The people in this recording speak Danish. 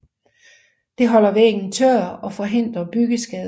Det holder væggen tør og forhindrer byggeskader